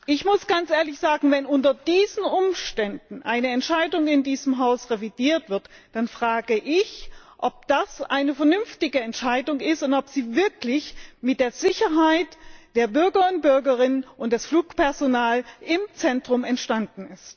Ich muss ganz ehrlich sagen Wenn unter diesen Umständen eine Entscheidung in diesem Haus revidiert wird, dann frage ich, ob das eine vernünftige Entscheidung ist und ob Sie wirklich mit der Sicherheit der Bürger und Bürgerinnen und des Flugpersonals im Zentrum entstanden ist.